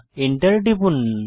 Enter টিপুন